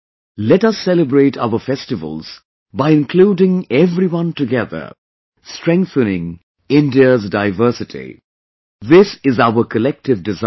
Let us celebrate our festivals by including everyone together, strenthening India's diversity... this is our collective desire